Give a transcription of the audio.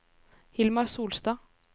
Hilmar Solstad